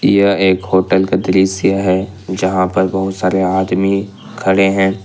यह एक होटल का दृश्य है जहां पर बहुत सारे आदमी खड़े हैं।